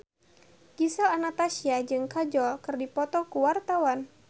Gisel Anastasia jeung Kajol keur dipoto ku wartawan